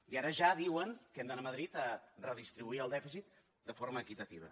i ara ja diuen que hem d’anar a madrid a redistribuir el dèficit de forma equitativa